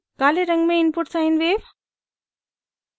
काले रंग में इनपुट sine wave